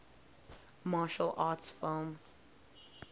martial arts film